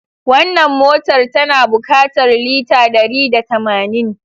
Wannan motar tana bukatar lita dari da tamanin.